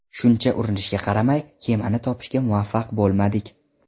Shuncha urinishga qaramay, kemani topishga muvaffaq bo‘lmadik.